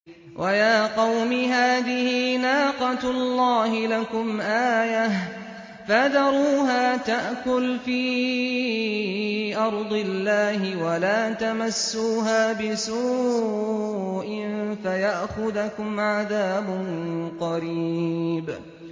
وَيَا قَوْمِ هَٰذِهِ نَاقَةُ اللَّهِ لَكُمْ آيَةً فَذَرُوهَا تَأْكُلْ فِي أَرْضِ اللَّهِ وَلَا تَمَسُّوهَا بِسُوءٍ فَيَأْخُذَكُمْ عَذَابٌ قَرِيبٌ